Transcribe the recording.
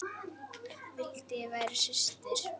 Vildi ég væri systir.